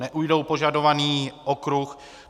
Neujdou požadovaný okruh.